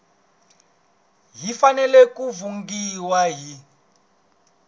yi fanele ku funghiwa hi